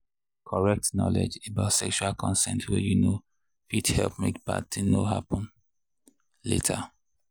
correct knowledge about sexual consent way you know fit help make bad thing no happen later.